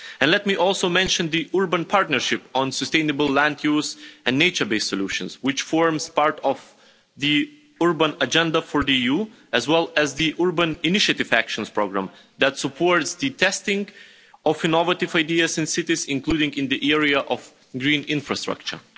Let me also mention the Urban Partnership on Sustainable Land Use and Nature Based Solutions, which forms part of the Urban Agenda for the EU as well as the Urban Innovative Actions programme, that supports the testing of innovative ideas in cities, including in the area of green infrastructure.